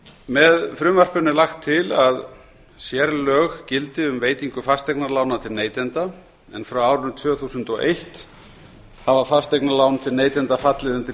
með frumvarpinu er lagt til að sérlög gildi um veitingu fasteignalána til neytenda en frá árinu tvö þúsund og eitt hafa fasteignalán til neytenda fallið undir